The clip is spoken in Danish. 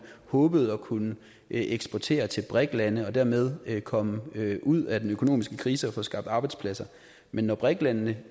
håbede at kunne eksportere til brik lande og dermed komme ud af den økonomiske krise og få skabt arbejdspladser men når brik landene